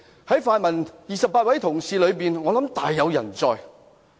在泛民28位同事中，我想大有人在。